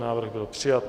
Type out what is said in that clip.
Návrh byl přijat.